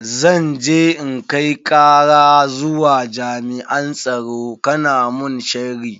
Zan je in kai kara zuwa jami'an tsaro kana mun sharri.